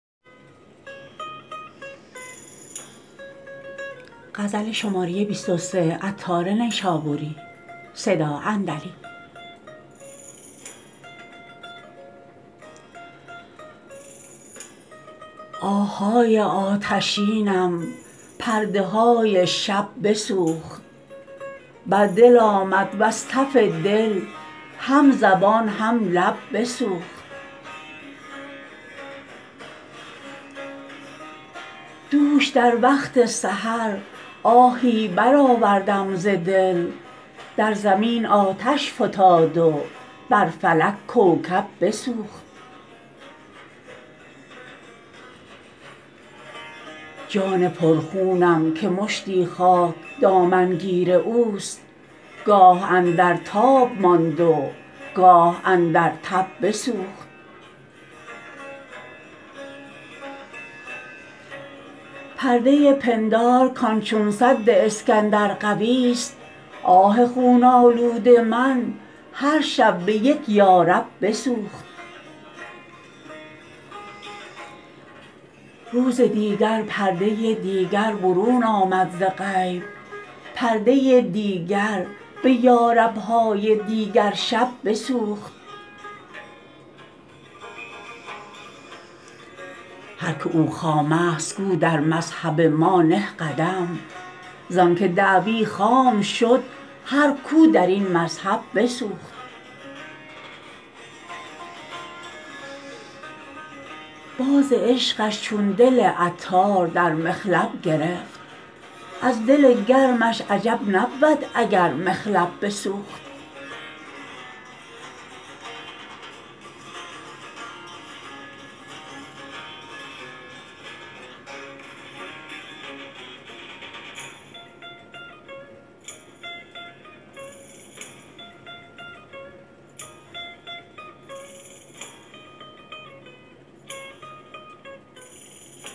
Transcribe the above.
آه های آتشینم پرده های شب بسوخت بر دل آمد وز تف دل هم زبان هم لب بسوخت دوش در وقت سحر آهی برآوردم ز دل در زمین آتش فتاد و بر فلک کوکب بسوخت جان پر خونم که مشتی خاک دامن گیر اوست گاه اندر تاب ماند و گاه اندر تب بسوخت پرده پندار کان چون سد اسکندر قوی است آه خون آلود من هر شب به یک یارب بسوخت روز دیگر پرده دیگر برون آمد ز غیب پرده دیگر به یارب های دیگرشب بسوخت هر که او خام است گو در مذهب ما نه قدم زانکه دعوی خام شد هر کو درین مذهب بسوخت باز عشقش چون دل عطار در مخلب گرفت از دل گرمش عجب نبود اگر مخلب بسوخت